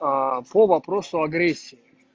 по вопросу агрессии